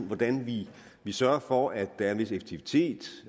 hvordan vi vi sørger for at der er en vis effektivitet